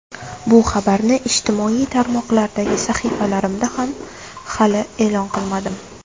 Bu xabarni ijtimoiy tarmoqlardagi sahifalarimda hali e’lon qilmadim.